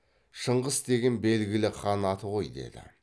шыңғыс деген белгілі хан аты ғой деді